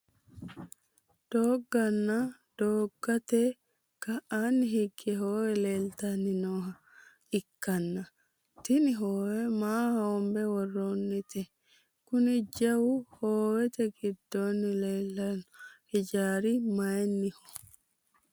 doogonna doogote ka'aanni higge hoowe leeltanni nooha ikkanna, tini hoowe maa hoonbe worroonnite? kuni jawu hoowete giddoonni leelanno ijaari mayiinniho?